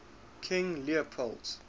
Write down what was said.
king leopold